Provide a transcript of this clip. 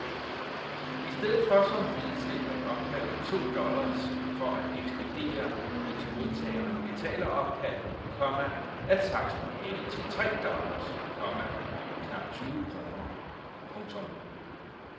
Istedet for som hidtil at opkræve to dollars for at ekspedere et modtageren betaleropkald, komma er taksten hævet til tre dollars, komma knap tyve kroner. punktum